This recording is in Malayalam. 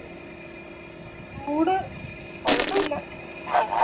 ചൂട് കുഴപ്പില്ല